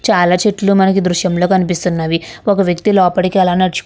చాలా చెట్లు మనకి ఈ దృశ్యంలో కనిపిస్తున్నవి ఒక వ్యక్తి లోపటికీ ఆలా నడుచు --